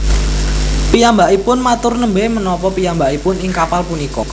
Piyambakipun matur Nembé menapa piyambakipun ing kapal punika